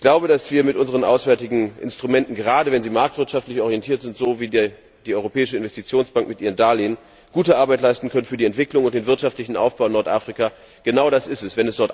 Ich glaube, dass wir mit unseren auswärtigen Instrumenten gerade wenn sie marktwirtschaftlich orientiert sind, so wie die Europäische Investitionsbank mit ihren Darlehen gute Arbeit für die Entwicklung und den wirtschaftlichen Aufbau in Nordafrika leisten können. Genau das ist es.